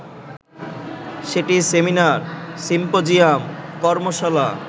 সেটি seminar, symposium, কর্মশালা